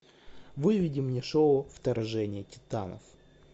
выведи мне шоу вторжение титанов